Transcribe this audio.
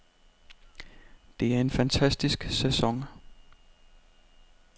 Det er en fantastisk sæson.